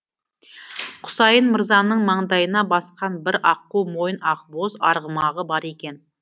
құсайын мырзаның маңдайына басқан бір аққу мойын ақбоз арғымағы бар екен